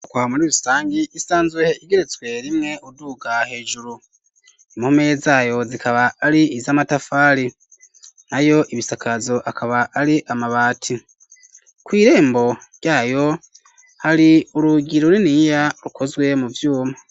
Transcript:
Inyubwakwa muri rusangi isanzwe igeretswe rimwe uduga hejuru impome zayo zikaba ari iz'amatafari nayo ibisakazo akaba ari amabati kw'irembo ryayo hari urugi runiniya rukozwe mu vyuma.